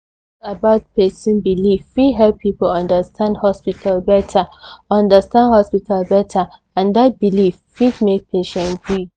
talk about person belief fit help people understand hospital better understand hospital better and that belief fit make patient gree